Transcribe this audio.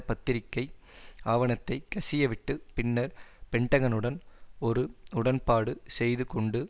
பத்திரிக்கை ஆவணத்தைக் கசிய விட்டு பின்னர் பென்டகனுடன் ஒரு உடன்பாடு செய்து கொண்டு